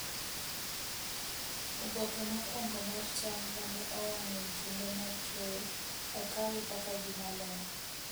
Oboke mokwongo mar cham ma ne owang’ e kinde mar keyo, okawe kaka gimaler.